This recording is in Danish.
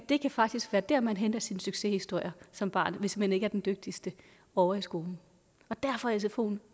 det kan faktisk være der man henter sine succeshistorier som barn hvis man ikke er den dygtigste ovre i skolen derfor er sfoen